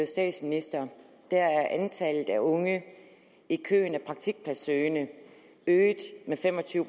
statsminister er antallet af unge i køen af praktikpladssøgende øget med fem og tyve